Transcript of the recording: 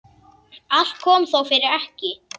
Allt kom þó fyrir ekki.